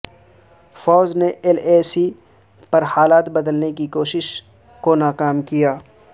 فوج نے L A C پر حالات بدلنے کی کوشش کو ناکام کیا